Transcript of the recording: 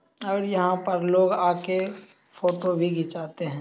और यहा पर लोग आके फोटो भी खिचाते है।